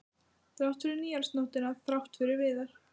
Þrátt fyrir nýársnóttina, þrátt fyrir Viðar.